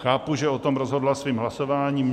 Chápu, že o tom rozhodla svým hlasováním.